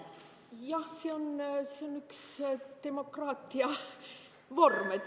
Jah, see on üks demokraatia vorm.